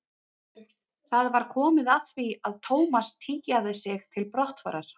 Það var komið að því að Thomas tygjaði sig til brottfarar.